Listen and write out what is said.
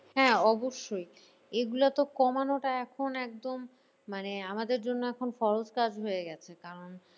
হ্যাঁ অবশ্যই এগুলো তো কমানোটা এখন একদম মানে আমাদের জন্য এখন সহজ কাজ হয়ে গেছে কারণ